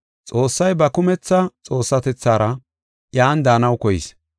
Xoossay ba kumetha Xoossatethaara iyan daanaw koyis.